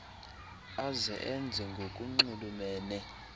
aze enze ngokunxulumene